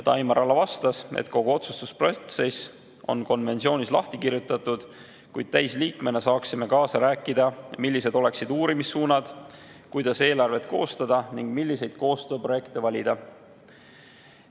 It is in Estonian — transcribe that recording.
Taimar Ala vastas, et kogu otsustusprotsess on konventsioonis lahti kirjutatud, kuid täisliikmena saaksime kaasa rääkida, millised oleksid uurimissuunad, kuidas eelarvet koostada ning milliseid koostööprojekte valida.